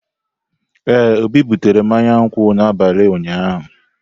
Ee, Obi butere mmanya nkwu n'abalị ụnyaahụ.